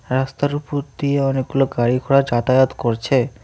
রাস্তার উপর দিয়ে অনেকগুলো গাড়িঘোড়া যাতায়াত করছে।